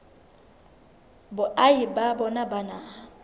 boahi ba bona ba naha